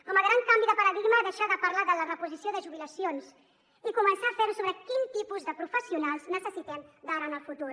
com a gran canvi de paradigma deixar de parlar de la reposició de jubilacions i començar a fer ho sobre quin tipus de professionals necessitem d’ara en el futur